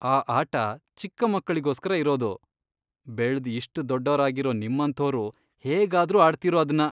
ಆ ಆಟ ಚಿಕ್ಕ ಮಕ್ಳಿಗೋಸ್ಕರ ಇರೋದು. ಬೆಳ್ದ್ ಇಷ್ಟ್ ದೊಡ್ಡೋರಾಗಿರೋ ನಿಮ್ಮಂಥೋರು ಹೇಗಾದ್ರೂ ಆಡ್ತೀರೋ ಅದ್ನ?